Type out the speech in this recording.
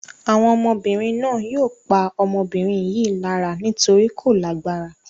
Àwọn ọmọbìnrin náà yóò pa ọmọbìnrin yìí lára nítorí kò lágbára.